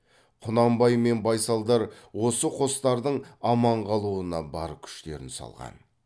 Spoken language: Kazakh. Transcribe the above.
құнанбай мен байсалдар осы қостардың аман қалуына бар күштерін салған